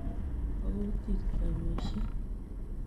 Bo kutit keamishei.